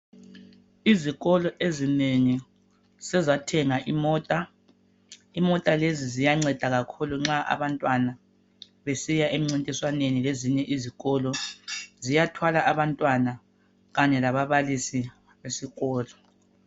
Izikolo ezinengi sezathenga imota ,imota lezi ziyanceda kakhulu nxa abantwana besiya emncintiswaneni lezinye izikolo ziyathwala abantwana kanye lababalisi esikolo